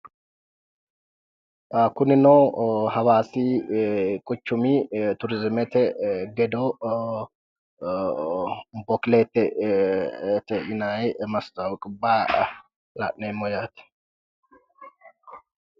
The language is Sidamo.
kunino hawaasi quchumi turizimete gedo ee bokilete yinayi mastawoqibba la'neemmo yaate